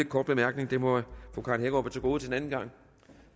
kort bemærkning det må fru karen hækkerup have til gode til en anden gang